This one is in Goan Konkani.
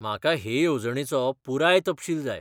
म्हाका हे येवजणेचो पुराय तपशील जाय.